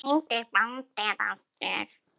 Hvað hét bandið aftur?